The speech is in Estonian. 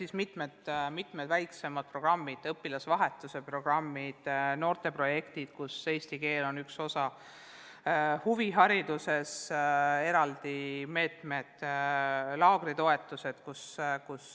On mitmed-mitmed väiksemad programmid, õpilasvahetuse programmid, noorteprojektid, kus eesti keel on üks osa huviharidusest, on eraldi meetmed ja laagritoetused.